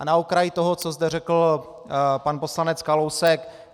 A na okraj toho, co zde řekl pan poslanec Kalousek.